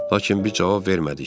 Lakin biz cavab vermədik.